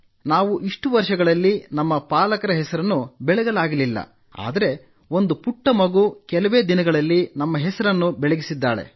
ನಾವು ಇಷ್ಟು ವರ್ಷಗಳಲ್ಲಿ ನಮ್ಮ ಪಾಲಕರ ಹೆಸರನ್ನು ಬೆಳಗಲಾಗಲಿಲ್ಲ ಆದರೆ ಒಂದು ಪುಟ್ಟ ಮಗು ಕೆಲವೇ ದಿನಗಳಲ್ಲಿ ನಮ್ಮ ಹೆಸರನ್ನು ಬೆಳಗಿಸಿದ್ದಾಳೆ